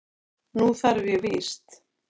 Nú þarf ég víst.